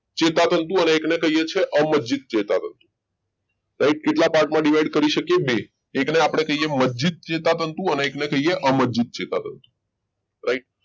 ચેતાતંતુ અને એક ને કહીએ છીએ અમજ્જિત ચેતાતંત્ર કેટલા ભાગમાં divide કરી શકે બે એકને આપણે કહીએ મજજીત એકને કહીએ અમરજીત ચેતાતંતુ right